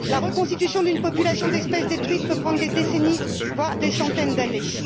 La reconstitution d'une population d'espèces détruites peut prendre des décennies, voire des centaines d'années.